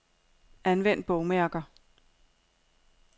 Anvend bogmærker.